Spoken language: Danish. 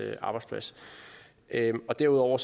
arbejdsplads derudover